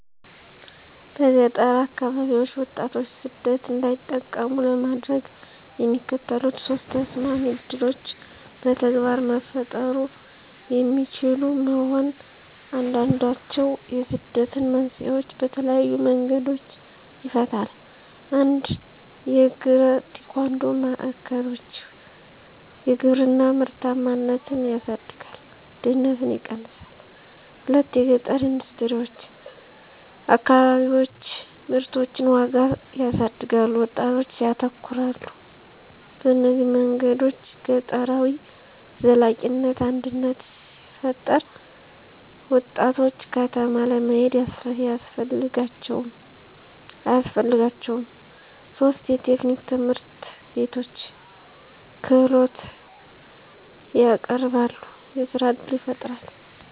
በገጠር አከባቢዎች ወጣቶች ሰደት እንዳይጠቀሙ ለማድረግ፣ የሚከተሉት ሶስት ተሰማሚ ዕድሎች በተግባር መፈጠሩ የሚችሉ መሆን፣ አንዱንድችዉ የስደትን መንስኤዎች በተለየዪ መንገዶች ይፈታል። 1 የእግራ-ቴኳንዶ ማዕከሎች _የግብርና ምርታማነትን ያሳድጋል፣ ድህነትን ይቀነሳል። 2 የገጠረ ኢንደስትሪዎች_ አከባቢዎች ምርቶችን ዋጋ ያሳድጋሉ፣ ወጣቶች ያተኮራሉ። በእነዚህ መንገዶች ገጠራዊ ዘላቂነት አድነት ሲፈጠራ፣ ወጣቶች ከተማ ለመሄድ አያስፈልጋቸውም ; 3 የቴክኒክ ትምህርትቤቶች _ክህሎትን ያቀረበሉ፣ የሥራ እድል ይፈጣራል።